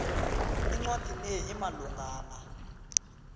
incwadi le imalungana